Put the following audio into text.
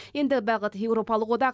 енді бағыт еуропалық одақ